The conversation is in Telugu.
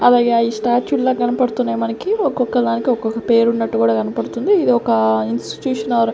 అలాగే అయి స్ట్యాచ్యూ లా కనపడుతున్నాయి మనకి ఒక్కొక్క దానికి ఒక్కొక్క పేరు ఉన్నట్టు కూడా కనపడుతుంది ఇది ఒక ఇన్స్టిట్యూట్ ఆర్ --